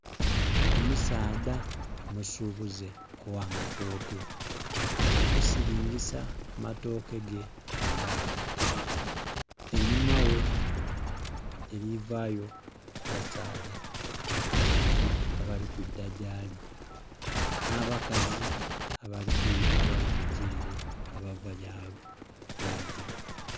Omusaadha omusubuze ogha matooke ali kisilingisa amatooke ge ku gaali einhuma ghe elikuvayo abasaadha babiri abali kwidha gyali na bakazi abali kuva ere abava gyagya.